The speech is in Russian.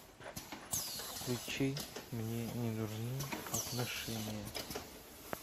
включи мне не нужны отношения